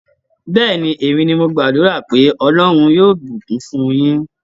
Bẹ́ẹ̀ni, èmi ni mo gbàdúrà pé Ọlọ́rn yóò bùkún fún un yín.